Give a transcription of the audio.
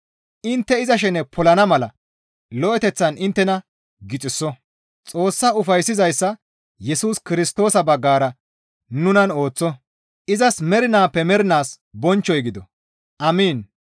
intte iza shene polana mala lo7eteththan inttena gixiso; Xoossa ufayssizayssa Yesus Kirstoosa baggara nunan ooththo; izas mernaappe mernaas bonchchoy gido. Amiin.